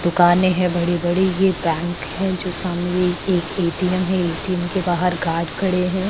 दुकाने हैं बड़ी बड़ी ये बैंक हैं जो सामने एक ए.टी.एम है। ए.टी.एम के बाहर गार्ड खड़े हैं।